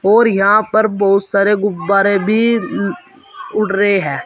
और यहां पर बहुत सारे गुब्बारे भी अह उड़ रहे है।